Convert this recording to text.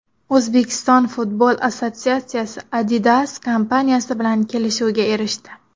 O‘zbekiston futbol assotsiatsiyasi Adidas kompaniyasi bilan kelishuvga erishdi.